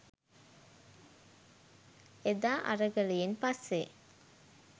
එදා අරගලයෙන් පස්සේ